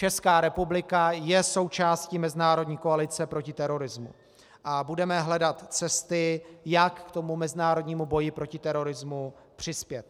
Česká republika je součástí mezinárodní koalice proti terorismu a budeme hledat cesty, jak k tomu mezinárodnímu boji proti terorismu přispět.